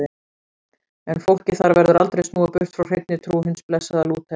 En fólki þar verður aldrei snúið burt frá hreinni trú hins blessaða Lúters.